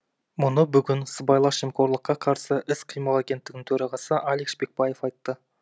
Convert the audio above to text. мұны бүгін сыбайлас жемқорлыққа қарсы іс қимыл агенттігінің төрағасы алик шпекбаев айтты